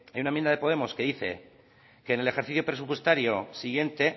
en una enmienda de podemos que dice que en el ejercicio presupuestario siguiente